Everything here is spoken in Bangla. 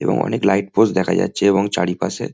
এবং অনেক লাইট পোস্ট দেখা যাচ্ছে এবং চারিপাশে --